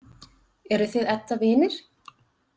Eruð þið Edda vinir?